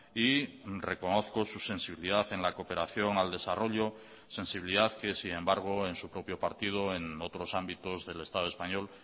y reconozco su sensibilidad en la cooperación al desarrollo sensibilidad que sin embargo en su propio partido en otros ámbitos del estado español